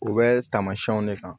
U bɛ taamasiyɛnw de kan